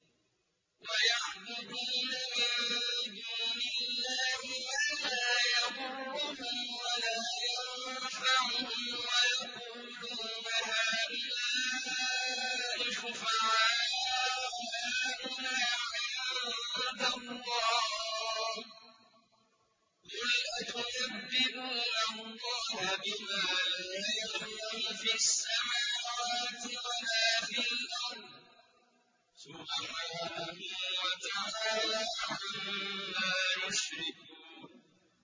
وَيَعْبُدُونَ مِن دُونِ اللَّهِ مَا لَا يَضُرُّهُمْ وَلَا يَنفَعُهُمْ وَيَقُولُونَ هَٰؤُلَاءِ شُفَعَاؤُنَا عِندَ اللَّهِ ۚ قُلْ أَتُنَبِّئُونَ اللَّهَ بِمَا لَا يَعْلَمُ فِي السَّمَاوَاتِ وَلَا فِي الْأَرْضِ ۚ سُبْحَانَهُ وَتَعَالَىٰ عَمَّا يُشْرِكُونَ